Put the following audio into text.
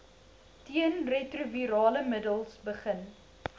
teenretrovirale middels begin